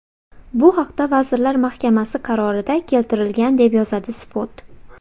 Bu haqda Vazirlar Mahkamasi qarorida keltirilgan, deb yozadi Spot.